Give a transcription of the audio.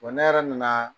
ne yɛrɛ nana